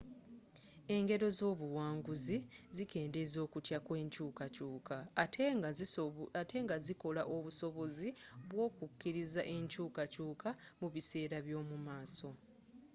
engero ez'obuwanguzi zikendeeza okutya kw'enkyukakyuka ate nga zikola obusobozi bw'okukkiriza enkyukakyuka mu biseera by'omu maaso